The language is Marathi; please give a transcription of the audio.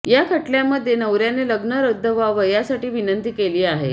या खटल्यामध्ये नवऱ्याने लग्न रद्द व्हावं यासाठी विनंती केली आहे